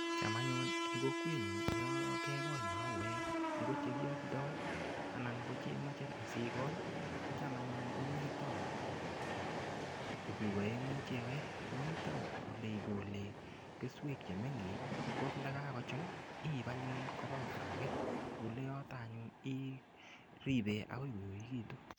Cham anyun eng' kokwenyun yo kegol mauwek ngo chekialdoy anan kocheimache asiikol kocham anyun komito tuguk aeng'u cheyoe mito ole ikole keswek chemengech ko ndakago chun iipu anyun kopa otaage ole yotok anyun iripe akoy koekekitu.